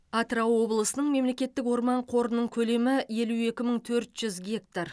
атырау облысының мемлекеттік орман қорының көлемі елу екі мың төрт жүз гектар